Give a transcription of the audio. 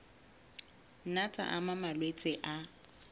nna tsa ama malwetse a